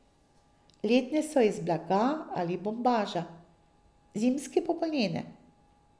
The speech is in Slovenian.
Letne so iz blaga ali bombaža, zimske pa volnene.